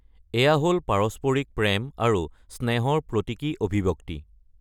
এয়া হ’ল পাৰস্পৰিক প্ৰেম আৰু স্নেহৰ প্ৰতীকী অভিব্যক্তি।